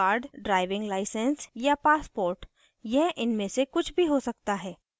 driving licenseor या passport यह इनमे से कुछ भी हो सकता है